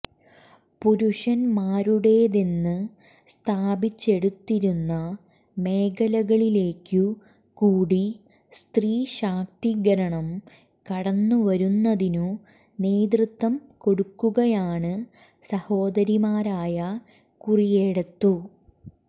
പുരുഷൻമാരുടേതെന്ന് സ്ഥാപിച്ചെടുത്തിരുന്ന മേഖലകളിലേക്കു കൂടി സ്ത്രീശാക്തീകരണം കടന്നുവരുന്നതിന്നു നേതൃത്വം കൊടുക്കുകയാണ് സഹോദരിമാരായ കുറിയേടത്തു